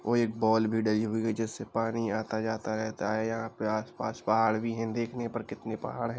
वो एक बॉल भी डली हुई है जिससे पानी आता जाता रहता हैं। यहाँ पे आस-पास पहाड़ भी हैं। देखने पर कितने पहाड़ हैं।